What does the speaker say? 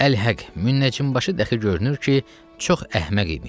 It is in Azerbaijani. Əl-həq müəccim başı dəxi görünür ki, çox əhməq imiş.